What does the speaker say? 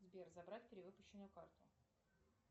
сбер забрать перевыпущенную карту